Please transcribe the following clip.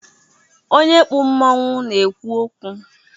Onye kpu mmanwụ na-ekwu okwu